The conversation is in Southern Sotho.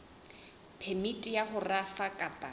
phemiti ya ho rafa kapa